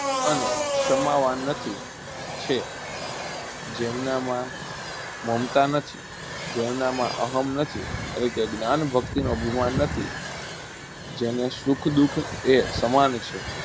અને સમાવા નથી છે જેમનામાં મમતા નથી જેમનામાં અહમ નથી એટલે કે જ્ઞાન ભક્તિનું અભિમાન નથી જેને સુખ દુખ એ સમાન છે